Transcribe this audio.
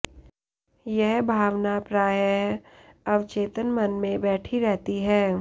यह भावना प्रायः अवचेतन मन में बैठी रहती है